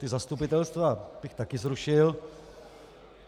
Ta zastupitelstva bych taky zrušil.